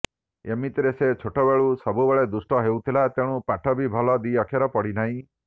ଏମିତିରେ ସେ ଛୋଟବେଳୁ ସବୁବେଳେ ଦୁଷ୍ଟ ହେଉଥିଲା ତେଣୁ ପାଠ ବି ଭଲ ଦି ଅକ୍ଷର ପଢ଼ିନାହିଁ